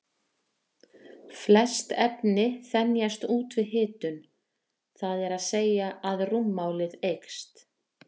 Flest efni þenjast út við hitun, það er að segja að rúmmálið eykst.